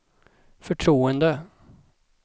förtroende